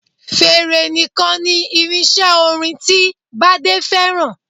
Fèrè nìkan ni irinṣẹ́ orin ti Bádé fẹ́ràn